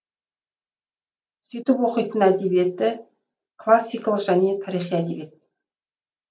сөйтіп оқитын әдебиеті классикалық және тарихи әдебиет